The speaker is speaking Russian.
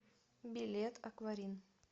билет акварин